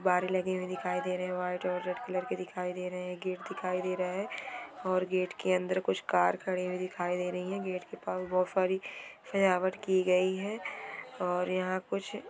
कुछ गुब्बारे लगे हुए दिखाई दे रहे हैं व्हाइट और रेड कलर के दिखाई दे रहे हैं गेट दिखाई दे रहा है और गेट के अंदर कुछ कार खड़ी हुई दिखाई दे रही हैं गेट के पास बहुत सारी सजावट की गई है और यहां।